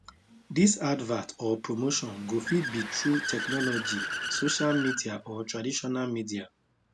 dis advert or promotion go fit be through technology social media or traditional media